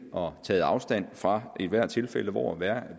og taget afstand fra ethvert tilfælde hvor